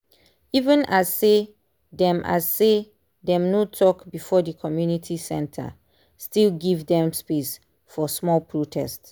even as say dem as say dem no talk before the community center still give them space for small protest.